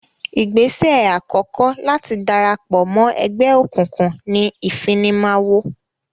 Ìgbésẹ̀ àkọ́kọ́ láti darapọ̀ mọ́ ẹgbẹ́ òkùnkùn ni ìfimawo.